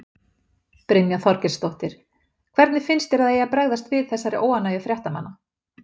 Brynja Þorgeirsdóttir: Hvernig finnst þér að það eigi að bregðast við þessari óánægju fréttamanna?